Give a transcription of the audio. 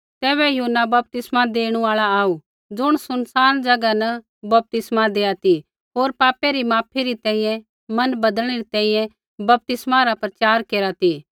तैबै यूहन्ना बपतिस्मा देणु आल़ा आऊ ज़ुण सुनसान ज़ैगा न बपतिस्मा देआ ती होर पापै री माफी री तैंईंयैं मन बदलनै री तैंईंयैं बपतिस्मा रा प्रचार केरा ती